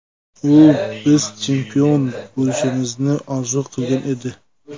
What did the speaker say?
U biz chempion bo‘lishimizni orzu qilgan edi.